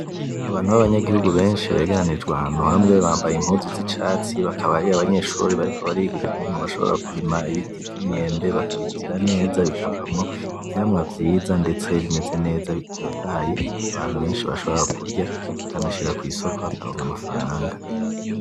Abantu babanyagihugu benshi begeranirijwe ahantu hamwe bambaye impuzu z'icatsi, bakaba ari abanyeshuri bariko bariga ukuntu bashobora kurima ibiti vy'imyembe bakabigira neza bikavamwo ivyamwa vyiza ndetsebimeze neza bitotahaye, abantu benshi bashobora kurya bakanashira kw'isoko bakaronka amafaranga